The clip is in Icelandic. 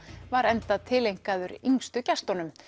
var enda tileinkaður yngstu gestunum